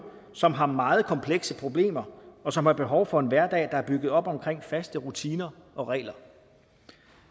som har meget komplekse problemer og som har behov for en hverdag der er bygget op omkring faste rutiner og regler